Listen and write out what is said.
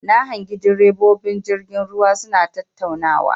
Na hangi ɗirebobin jirgin ruwa suna tattaunawa.